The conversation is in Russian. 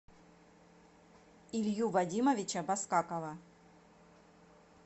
илью вадимовича баскакова